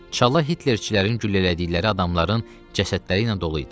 Çala Hitlerçilərin güllələdikləri adamların cəsədləri ilə dolu idi.